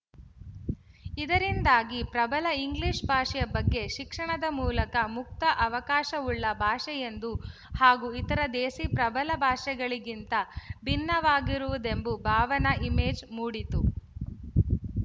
ಇದರಿಂದಾಗಿ ಪ್ರಬಲ ಇಂಗ್ಲಿಶ ಭಾಷೆಯ ಬಗ್ಗೆ ಶಿಕ್ಷಣದ ಮೂಲಕ ಮುಕ್ತ ಅವಕಾಶವುಳ್ಳ ಭಾಷೆಯೆಂದು ಹಾಗೂ ಇತರೆ ದೇಸಿ ಪ್ರಬಲ ಭಾಷೆಗಳಿಗಿಂತ ಭಿನ್ನವಾಗಿರುವುದೆಂಬ ಭಾವನೆ ಇಮೇಜು ಮೂಡಿತು